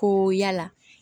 Ko yala